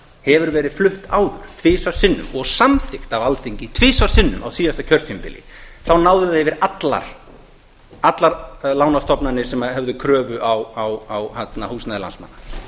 hefur verið flutt áður tvisvar sinnum og samþykkt af alþingi tvisvar sinnum á síðasta kjörtímabili þá náði það yfir allar lánastofnanir sem höfðu kröfu á húsnæði landsmanna